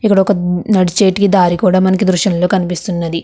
ఇక్కడ ఒక నడిచేటి దారి కూడా మనకు దృశంలో కనిపిస్తున్నది.